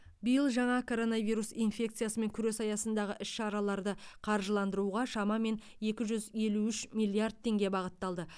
биыл жаңа коронавирус инфекциямен күрес аясындағы іс шараларды қаржыландыруға шамамен екі жүз елу үш миллиард теңге бағытталды